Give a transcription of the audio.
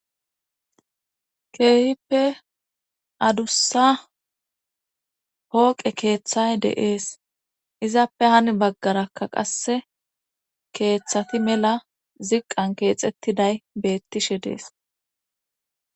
keehippe adussa hooqe keeththay deees izappe hani baggarakka qasse keeththati mela ziqqan keexettiday beettishe dees.